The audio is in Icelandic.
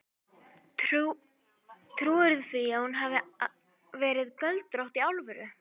Trúirðu því að hún hafi verið göldrótt. í alvöru?